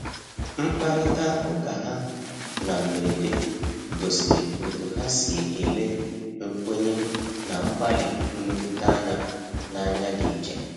Mkparịta ụkaha na mberede gosiri otú ha si ele nkwenye na mgbalị mmetụta anya n’anya dị iche.